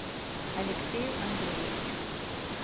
алексею андреевичу